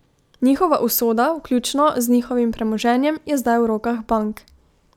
Njihova usoda, vključno z njihovim premoženjem, je zdaj v rokah bank.